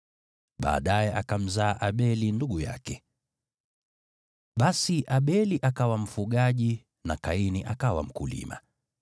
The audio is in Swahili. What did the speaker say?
Baadaye akamzaa Abeli ndugu yake. Basi Abeli akawa mfugaji, na Kaini akawa mkulima.